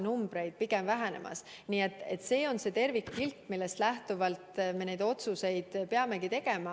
See on tervikpilt, millest lähtuvalt me neid otsuseid peame tegema.